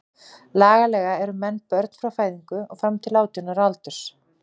Lagalega eru menn börn frá fæðingu og fram til átján ára aldurs.